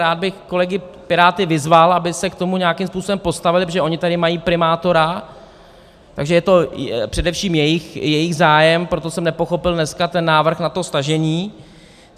Rád bych kolegy Piráty vyzval, aby se k tomu nějakým způsobem postavili, protože oni tady mají primátora, takže je to především jejich zájem, proto jsem nepochopil dneska ten návrh na to stažení.